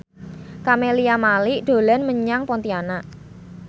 Camelia Malik dolan menyang Pontianak